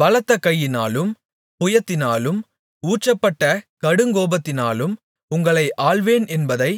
பலத்த கையினாலும் புயத்தினாலும் ஊற்றப்பட்ட கடுங்கோபத்தினாலும் உங்களை ஆள்வேன் என்பதை